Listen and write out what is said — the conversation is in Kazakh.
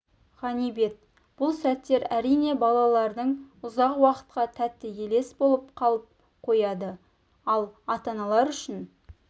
ғанибет бұл сәттер әрине балалардың ұзақ уақытқа тәтті елес болып қалып қояды ал ата-аналар үшін